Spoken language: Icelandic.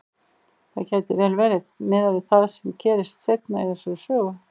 Það gæti vel verið, miðað við það sem gerist seinna í þessari sögu.